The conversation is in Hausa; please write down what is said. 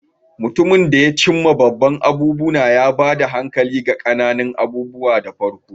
Mutum da ya cim ma babban abubuwa, ya ba da hankali ga ƙananan abubuwa da farko.